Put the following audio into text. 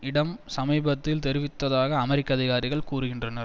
இடம் சமீபத்தில் தெரிவித்ததாக அமெரிக்க அதிகாரிகள் கூறுகின்றனர்